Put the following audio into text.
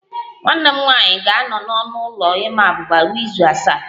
Nwanne m nwanyị ga-anọ n'ọnụ ụlọ ịma abuba ruo izu asaa